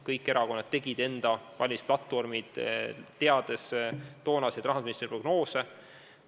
Kõik erakonnad tegid oma valimisplatvormid, teades toonaseid Rahandusministeeriumi prognoose.